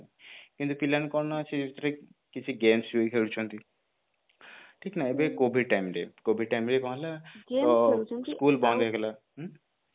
କିନ୍ତୁ ପିଲା କଣ ନା ଅଛି ଏଇଥିରେ କିଛି games ବି ଖେଳୁଛନ୍ତି ଠିକ ନା ଏବେ covid time ରେ covid time ରେ କଣ ହେଲା ନା school ବନ୍ଦ ହେଇଗଲା ହୁଁ